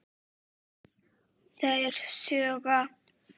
Þeir sjúga.